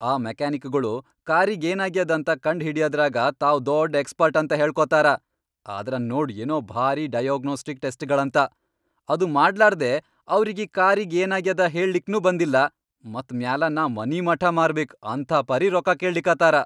ಆ ಮೆಕ್ಯಾನಿಕಗೊಳು ಕಾರಿಗೇನಾಗ್ಯಾದಂತ ಕಂಡ್ ಹಿಡಿಯದರಾಗ ತಾವ್ ದೊಡ್ ಎಕ್ಸ್ಪರ್ಟ್ ಅಂತ ಹೇಳ್ಕೊತಾರ, ಆದ್ರ ನೋಡ್ ಏನೋ ಭಾರಿ ,ಡಯಾಗ್ನೋಸ್ಟಿಕ್ ಟೆಸ್ಟ್, ಗೊಳಂತ, ಅದು ಮಾಡ್ಲಾರ್ದೇ ಅವ್ರಿಗಿ ಕಾರಿಗೆ ಏನಾಗ್ಯಾದ ಹೇಳ್ಲಿಕ್ನೂ ಬಂದಿಲ್ಲ, ಮತ್ ಮ್ಯಾಲ ನಾ ಮನಿಮಠಾ ಮಾರಬೇಕ್ ಅಂಥಾಪರಿ ರೊಕ್ಕಾ ಕೇಳ್ಳಿಕತ್ತಾರ.